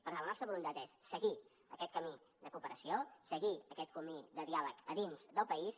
per tant la nostra voluntat és seguir aquest camí de cooperació seguir aquest camí de diàleg a dins del país